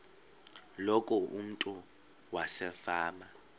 loku umntu wasefama